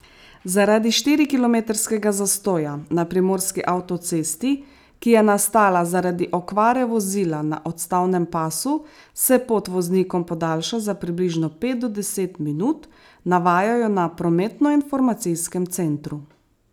Zaradi štirikilometrskega zastoja na primorski avtocesti, ki je nastala zaradi okvare vozila na odstavnem pasu, se pot voznikom podaljša za približno pet do deset minut, navajajo na prometnoinformacijskem centru.